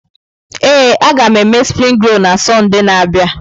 Ee, agam eme springi rol na Sọnde na-abịa.